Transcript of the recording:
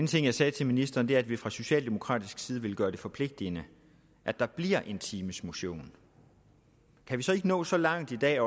ting jeg sagde til ministeren er at vi fra socialdemokratisk side vil gøre det forpligtende at der bliver en times motion kan vi så ikke nå så langt i dag at